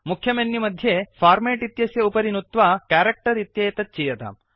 मुख्यमेनुमध्ये format इत्यस्य उपरि नुत्वा कैरेक्टर् इत्येतत् चीयताम्